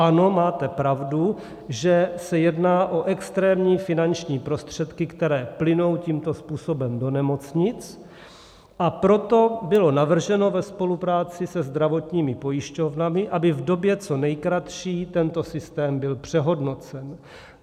Ano, máte pravdu, že se jedná o extrémní finanční prostředky, které plynou tímto způsobem do nemocnic, a proto bylo navrženo ve spolupráci se zdravotními pojišťovnami, aby v době co nejkratší tento systém byl přehodnocen.